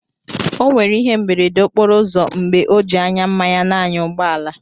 O nwèrè ihé mberede okporo ụzọ mgbè ọ ji ányá mmanya n'ányà ụgbọ àlà